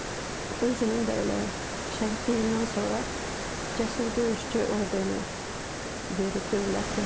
Özünün də elə şəhidliyindən sonra cəsur döyüşçü ordeni verib dövlətim.